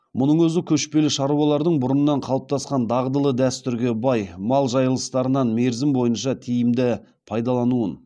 мұның өзі көшпелі шаруалардың бұрыннан қалыптасқан дағдылы дәстүрге бай мал жайылыстарынан мерзім бойынша тиімді пайдалануын